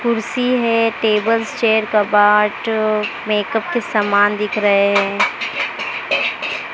कुर्सी है tables chair कपाट मेकअप के समान दिख रहे है।